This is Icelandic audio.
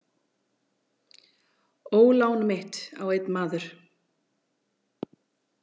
Ólán mitt á einn maður.